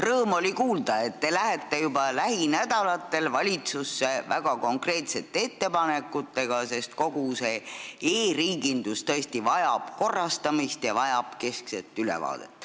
Rõõm oli kuulda, et te lähete juba lähinädalatel valitsusse väga konkreetsete ettepanekutega, sest kogu e-riigindus tõesti vajab korrastamist ja keskset ülevaadet.